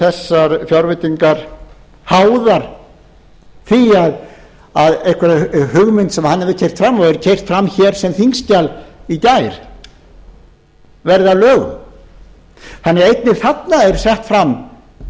þessar fjárveitingar háðar því að einhver hugmynd sem hann hefur keyrt fram og er keyrð fram hér sem þingskjal í gær verði að lögum einnig þarna eru því settar fram